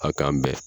A kan bɛn